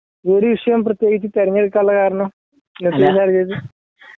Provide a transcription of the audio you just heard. ഈ ഒരു വിഷയം പ്രത്യേകിച്ച് തിരഞ്ഞെടുക്കാനുള്ള കാരണം